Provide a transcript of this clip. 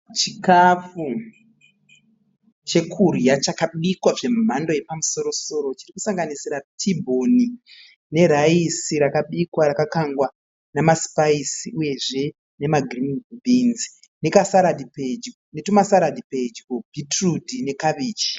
Chikafu chekudya chakabikwa zvemhando yepamusoro soro chiri kusanganisira t bhoni ne raisi rakabikwa rakakangwa nemasipayisi uyezve nemagirini bhinzi netumasaladhi pedyo beetroot nekabichi.